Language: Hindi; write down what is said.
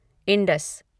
इंडस